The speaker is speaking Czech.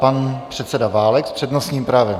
Pan předseda Válek s přednostním právem.